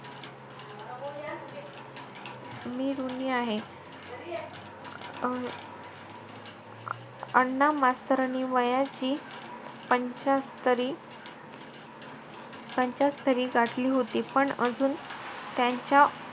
मी ऋणी आहे अं अण्णा मास्तरांनी वयाची पंच्यातरी~ पंच्यातरी गाठली होती. पण अजून त्यांच्या,